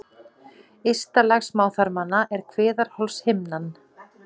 Ysta lag smáþarmanna er kviðarholshimnan.